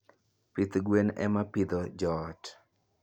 Pith gwen ema pidho joot.